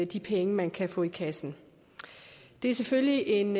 de penge man kan få i kassen det er selvfølgelig en